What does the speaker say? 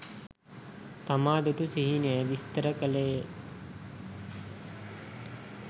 තමා දුටු සිහිනය විස්තර කළේ ය.